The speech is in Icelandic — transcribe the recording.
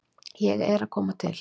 Ég er að koma til.